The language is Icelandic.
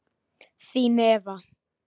Þín Eva